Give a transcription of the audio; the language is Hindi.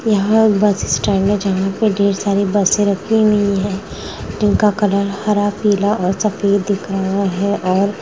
यहाँ पर बस स्टैंड है जहाँ पर ढेर सारी बसे रखी हुई हैं जिनका कलर हरा पीला और सफ़ेद दिख रहा है और--